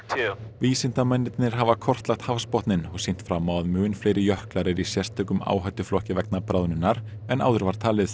vísindamennirnir hafa kortlagt hafsbotninn og sýnt fram á að mun fleiri jöklar eru í sérstökum áhættuflokki vegna bráðnunar en áður var talið